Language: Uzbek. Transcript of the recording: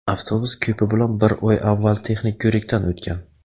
avtobus ko‘pi bilan bir oy avval texnik ko‘rikdan o‘tgan.